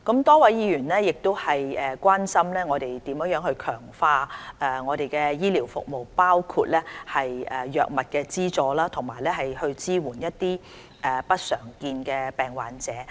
多位議員關心我們如何強化醫療服務，包括藥物資助和支援不常見疾病患者。